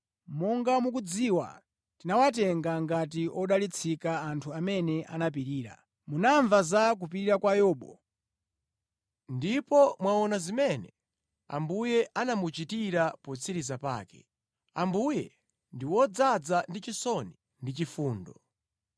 Monga mukudziwa, tinawatenga ngati odalitsika anthu amene anapirira. Munamva za kupirira kwa Yobu ndipo mwaona zimene Ambuye anamuchitira potsiriza pake. Ambuye ndi wodzaza ndi chisoni ndi chifundo.